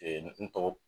n tɔgɔ